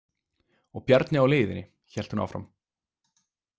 Og Bjarni á leiðinni, hélt hún áfram.